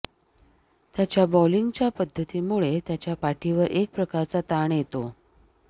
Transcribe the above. त्याच्या बॉलिंगच्या पद्धतीमुळे त्याच्या पाठीवर एक प्रकारचा ताण येतो